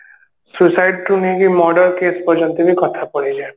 suicide ରୁ ନେଇକି murder case ପର୍ଯ୍ୟନ୍ତ ବି କଥା ପଳେଇଯାଏ